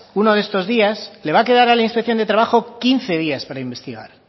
uno de estos días le va a quedar a la inspección de trabajo quince días para investigar